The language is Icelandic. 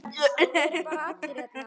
Eru bara allir hérna?